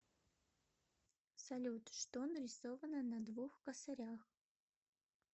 салют что нарисовано на двух косарях